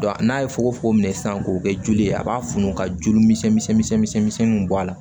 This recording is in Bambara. n'a ye fogofogo minɛ sisan k'o kɛ joli ye a b'a funu ka joli misɛnninw bɔ a la